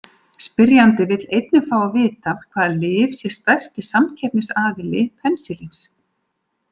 Spyrjandi vill einnig fá að vita hvaða lyf sé stærsti samkeppnisaðili penisilíns.